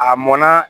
A mɔnna